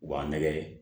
U b'an nɛgɛ